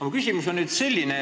Mu küsimus on selline.